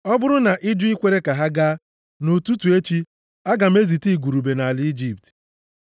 Ọ bụrụ na ị jụ ikwere ka ha gaa, nʼụtụtụ echi, aga m ezite igurube nʼala Ijipt.